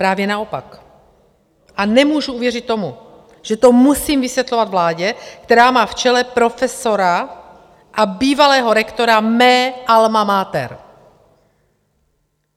Právě naopak a nemůžu uvěřit tomu, že to musím vysvětlovat vládě, která má v čele profesora a bývalého rektora mé alma mater.